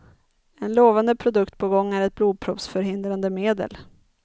En lovande produkt på gång är ett blodproppsförhindrande medel.